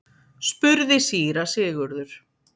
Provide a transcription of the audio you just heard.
spurði síra Sigurður.